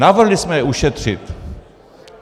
Navrhli jsme je ušetřit.